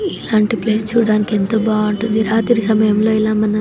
ఇలాంటి ప్లేస్ చూడ్డానికి ఎంతో బాగుంటడి రాత్రి సమయం లో మనం --